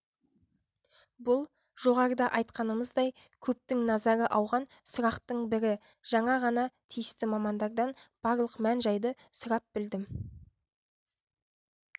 бұл жоғарыда айтқанымыздай көптің назары ауған сұрақтың бірі жаңа ғана тиісті мамандардан барлық мән-жайды сұрап білдім